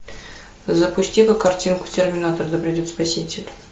запусти ка картинку терминатор да придет спаситель